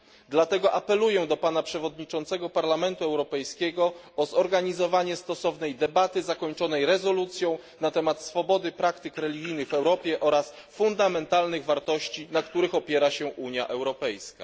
Dlatego apeluję do Pana Przewodniczącego Parlamentu Europejskiego o zorganizowanie stosownej debaty zakończonej rezolucją na temat swobody praktyk religijnych w Europie oraz fundamentalnych wartości, na których opiera się Unia Europejska.